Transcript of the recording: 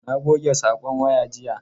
Na goge sakon waya jiya.